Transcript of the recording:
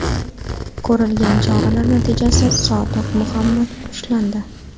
Ko‘rilgan choralar natijasida Sodiq Muhammad ushlandi.